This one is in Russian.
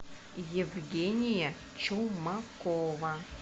евгения чумакова